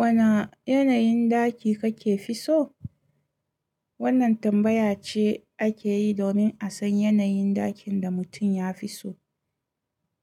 Wane yanayin ɗaki kake fi so? Wannan tambaya ce ake yi domin a san yanayin ɗakin da mutum ya fi so.